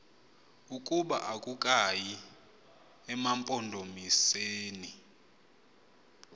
ukuba akukayi emampondomiseni